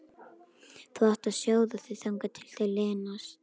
Þú átt að sjóða þau þangað til þau linast.